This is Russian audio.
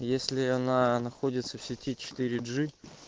если она находится в сети четыре джи